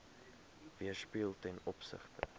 weerspieël ten opsigte